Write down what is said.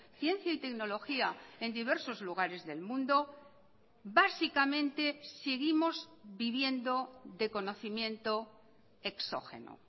ciencia y tecnología en diversos lugares del mundo básicamente seguimos viviendo de conocimiento exógeno